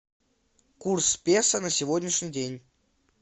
курс песо на сегодняшний день